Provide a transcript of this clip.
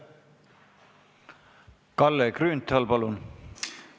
Kalle Grünthal, palun!